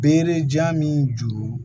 Bere jan min juru